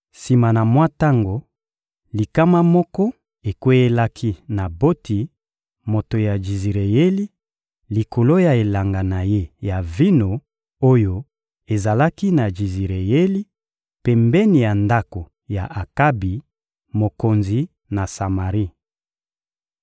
Sima na mwa tango, likama moko ekweyelaki Naboti, moto ya Jizireyeli, likolo ya elanga na ye ya vino oyo ezalaki na Jizireyeli, pembeni ya ndako ya Akabi, mokonzi na Samari.